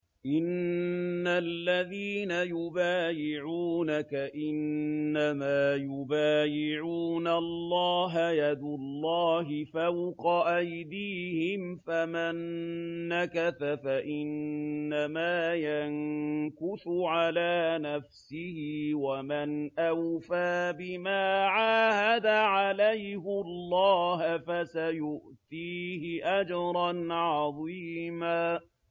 إِنَّ الَّذِينَ يُبَايِعُونَكَ إِنَّمَا يُبَايِعُونَ اللَّهَ يَدُ اللَّهِ فَوْقَ أَيْدِيهِمْ ۚ فَمَن نَّكَثَ فَإِنَّمَا يَنكُثُ عَلَىٰ نَفْسِهِ ۖ وَمَنْ أَوْفَىٰ بِمَا عَاهَدَ عَلَيْهُ اللَّهَ فَسَيُؤْتِيهِ أَجْرًا عَظِيمًا